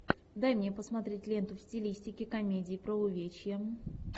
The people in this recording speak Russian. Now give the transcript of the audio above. дай мне посмотреть ленту в стилистике комедии про увечья